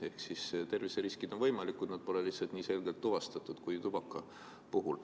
Ehk terviseriskid on võimalikud, aga neid pole lihtsalt nii selgelt tuvastatud kui tubaka puhul.